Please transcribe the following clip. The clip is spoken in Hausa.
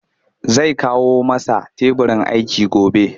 Zai kawo masa teburin aiki gobe